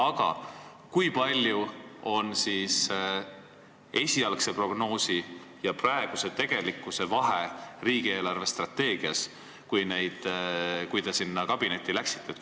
Aga kui suur oli esialgse prognoosi ja tegelikkuse vahe riigi eelarvestrateegias, kui te sinna kabinetti läksite?